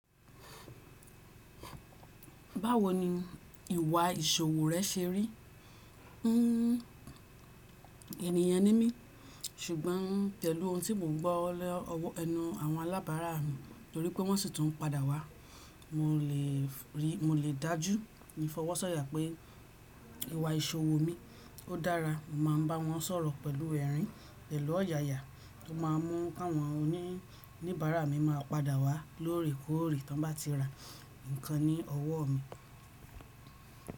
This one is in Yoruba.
Báwo ni ìwà ìṣòwò rẹ́ ṣe rí? Ẹ̀nìyàn ni mí, ṣùgbọ́n pelú ohun tí mò ń gbọ́ lẹ́nu àwọn alábàárà mi torí pé wọ́n sì tún n padà wá. Mó lè dájú ní fọwọ́sọ̀yà pé ìwà ìṣòwò mi ó dára. Mó máa n bá wọn sọ̀rọ̀ pẹ̀lú ẹ̀rín pẹ̀lú ọ̀yààyà. Kò máa mú kí àwọn oníbàárà mi máa padà wá lóòrèkóòrè tí wọ́n bá ti rà ǹkan ní ọwọ́ mi.